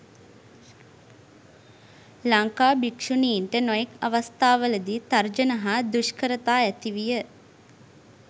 ලංකා භික්ෂුණින්ට නොයෙක් අවස්ථාවලදී තර්ජන හා දුෂ්කරතා ඇතිවිය.